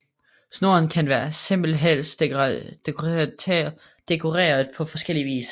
Snoren kan være simpel eller dekoreret på forskellig vis